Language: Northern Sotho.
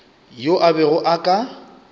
yo a bego a ka